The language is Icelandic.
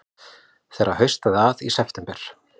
Þegar haustaði að í september